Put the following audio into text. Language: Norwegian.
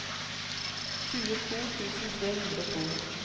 tjueto tusen tre hundre og to